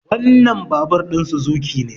wannan babur ɗin Suzuki ne